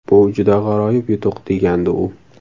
Bu juda g‘aroyib yutuq”, degandi u.